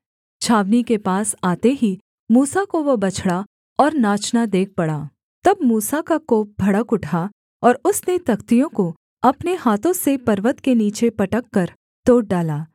छावनी के पास आते ही मूसा को वह बछड़ा और नाचना देख पड़ा तब मूसा का कोप भड़क उठा और उसने तख्तियों को अपने हाथों से पर्वत के नीचे पटककर तोड़ डाला